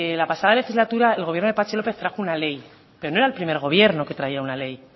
la pasada legislatura el gobierno de patxi lópez trajo una ley pero no era el primer gobierno que traía una ley